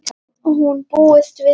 Hún búist við mér.